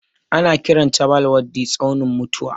Ana kiran chabbal waddi tsaunin mutuwa.